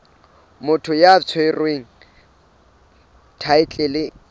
motho ya tshwereng thaetlele kapa